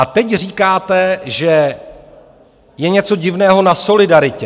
A teď říkáte, že je něco divného na solidaritě.